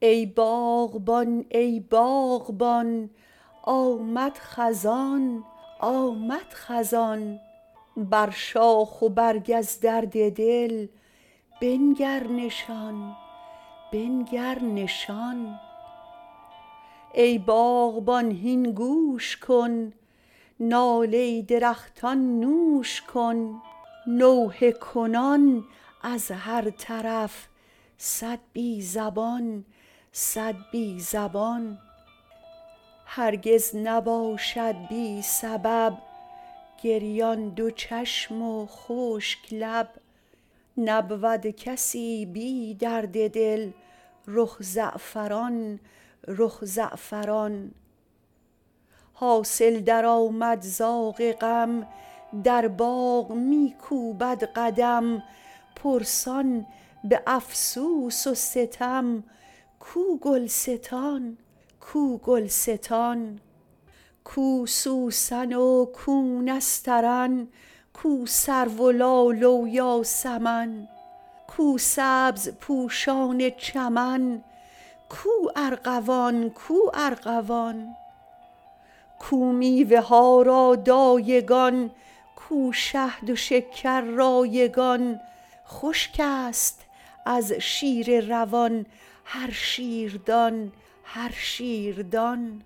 ای باغبان ای باغبان آمد خزان آمد خزان بر شاخ و برگ از درد دل بنگر نشان بنگر نشان ای باغبان هین گوش کن ناله درختان نوش کن نوحه کنان از هر طرف صد بی زبان صد بی زبان هرگز نباشد بی سبب گریان دو چشم و خشک لب نبود کسی بی درد دل رخ زعفران رخ زعفران حاصل درآمد زاغ غم در باغ و می کوبد قدم پرسان به افسوس و ستم کو گلستان کو گلستان کو سوسن و کو نسترن کو سرو و لاله و یاسمن کو سبزپوشان چمن کو ارغوان کو ارغوان کو میوه ها را دایگان کو شهد و شکر رایگان خشک است از شیر روان هر شیردان هر شیردان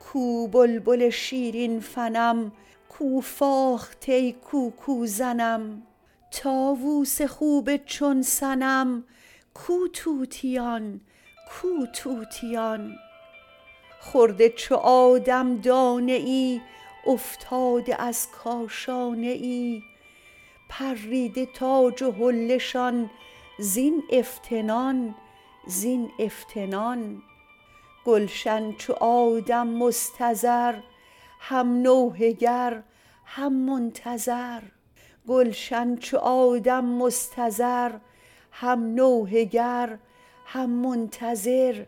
کو بلبل شیرین فنم کو فاخته کوکوزنم طاووس خوب چون صنم کو طوطیان کو طوطیان خورده چو آدم دانه ای افتاده از کاشانه ای پریده تاج و حله شان زین افتنان زین افتنان گلشن چو آدم مستضر هم نوحه گر هم منتظر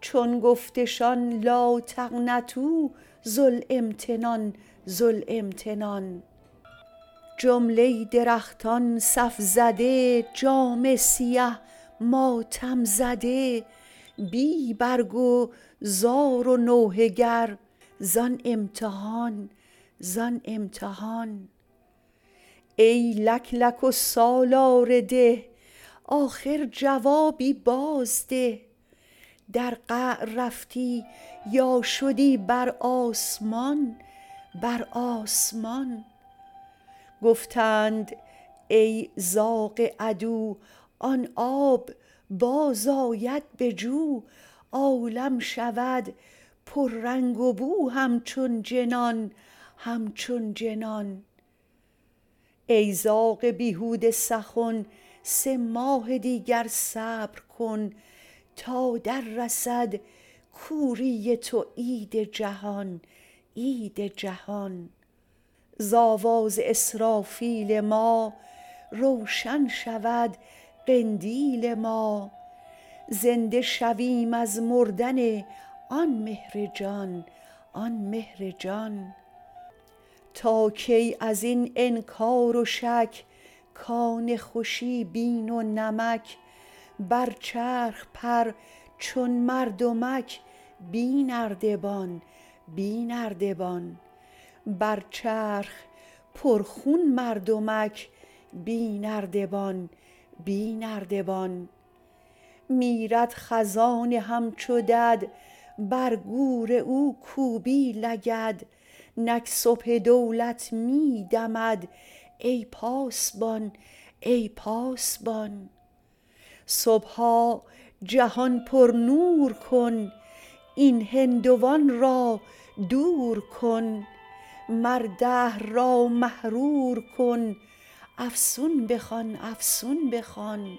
چون گفتشان لا تقنطوا ذو الامتنان ذو الامتنان جمله درختان صف زده جامه سیه ماتم زده بی برگ و زار و نوحه گر زان امتحان زان امتحان ای لک لک و سالار ده آخر جوابی بازده در قعر رفتی یا شدی بر آسمان بر آسمان گفتند ای زاغ عدو آن آب بازآید به جو عالم شود پررنگ و بو همچون جنان همچون جنان ای زاغ بیهوده سخن سه ماه دیگر صبر کن تا دررسد کوری تو عید جهان عید جهان ز آواز اسرافیل ما روشن شود قندیل ما زنده شویم از مردن آن مهر جان آن مهر جان تا کی از این انکار و شک کان خوشی بین و نمک بر چرخ پرخون مردمک بی نردبان بی نردبان میرد خزان همچو دد بر گور او کوبی لگد نک صبح دولت می دمد ای پاسبان ای پاسبان صبحا جهان پرنور کن این هندوان را دور کن مر دهر را محرور کن افسون بخوان افسون بخوان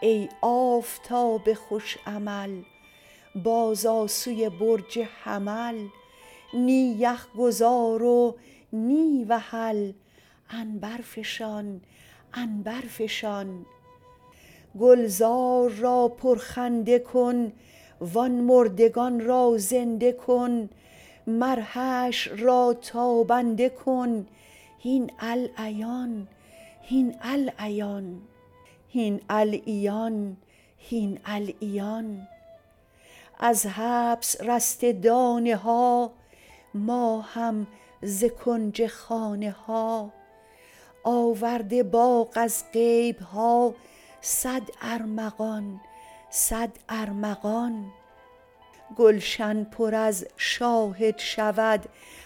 ای آفتاب خوش عمل بازآ سوی برج حمل نی یخ گذار و نی وحل عنبرفشان عنبرفشان گلزار را پرخنده کن وان مردگان را زنده کن مر حشر را تابنده کن هین العیان هین العیان از حبس رسته دانه ها ما هم ز کنج خانه ها آورده باغ از غیب ها صد ارمغان صد ارمغان گلشن پر از شاهد شود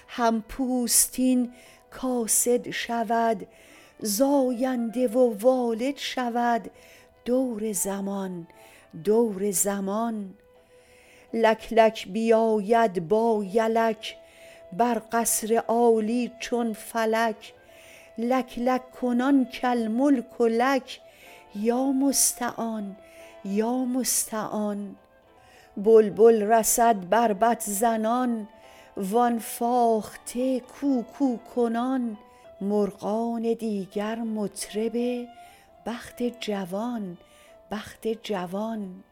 هم پوستین کاسد شود زاینده و والد شود دور زمان دور زمان لک لک بیاید با یدک بر قصر عالی چون فلک لک لک کنان کالملک لک یا مستعان یا مستعان بلبل رسد بربط زنان وان فاخته کوکوکنان مرغان دیگر مطرب بخت جوان بخت جوان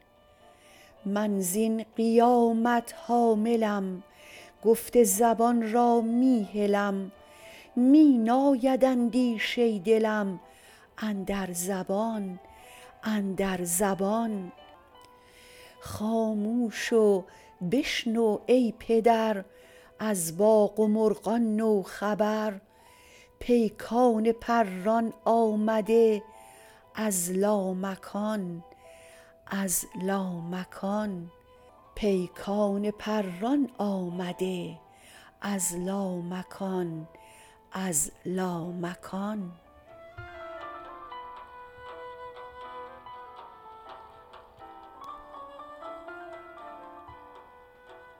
من زین قیامت حاملم گفت زبان را می هلم می ناید اندیشه دلم اندر زبان اندر زبان خاموش و بشنو ای پدر از باغ و مرغان نو خبر پیکان پران آمده از لامکان از لامکان